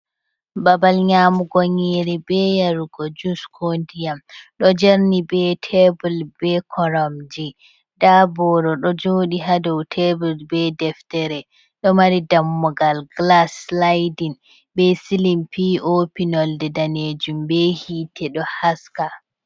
Babal nyamugo nyere be yarugo jus ko ndiyam. Ɗo jerni be tebul be koramji. Ɗa boro ɗo joɗi ha dou tebel be deftere. Ɗo mari dammugal gilas silaiɗin. Be silim pi-opi nolse danejum be hiite ɗo haska.